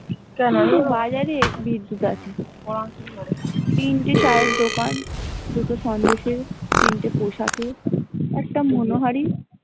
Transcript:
কিন্তু বাজারে আছে তিনটে চায়ের দোকান দুটো সন্দেশের তিনটে পোশাকের একটি মনোহারি ।